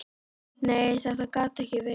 Nei, þetta gat ekki verið.